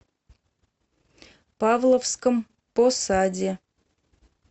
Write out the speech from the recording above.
павловском посаде